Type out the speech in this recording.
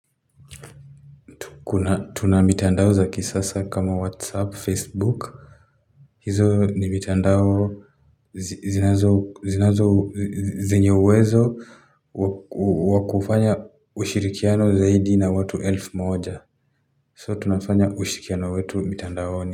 Tuna mitandao zaki sasa kama WhatsApp, Facebook hizo ni mitandao zinazo zinyouwezo wakufanya ushirikiano zaidi na watu elfu moja So tunafanya ushirikiano wetu mitandaoni.